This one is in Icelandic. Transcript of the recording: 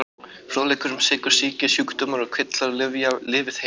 Fróðleikur um sykursýki Sjúkdómar og kvillar Lyfja- Lifið heil.